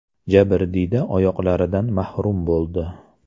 Jabrdiyda oyoqlaridan mahrum bo‘ldi.